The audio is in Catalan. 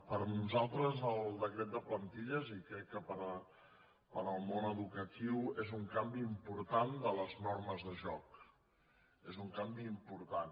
per nosaltres el decret de plantilles i crec que per al món educatiu és un canvi important de les normes de joc és un canvi important